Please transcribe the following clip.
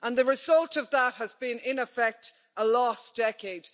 The result of that has been, in effect, a lost decade.